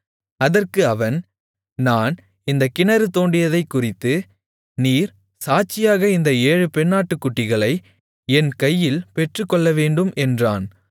அதற்கு அவன் நான் இந்தக் கிணறு தோண்டியதைக்குறித்து நீர் சாட்சியாக இந்த ஏழு பெண்ணாட்டுக்குட்டிகளை என் கையில் பெற்றுக்கொள்ளவேண்டும் என்றான்